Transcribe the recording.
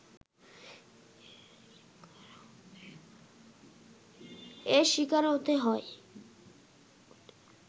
এর শিকার হতে হয়